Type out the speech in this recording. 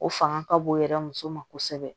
O fanga ka bon o yɛrɛ muso ma kosɛbɛ